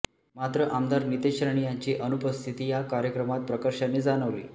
मात्र आमदार नितेश राणे यांची उनुपस्थिती या कार्यक्रमात प्रकर्षाने जाणवली